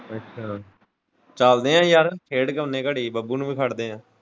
ਅੱਛਾ ਚੱਲਦੇ ਐਂ ਯਾਰ ਖੇਡ ਕੇ ਆਉਣੇ ਆਂ ਘੜੀ ਬੱਬੂ ਨੂੰ ਵੀ ਖੜਦੇ ਐਂ।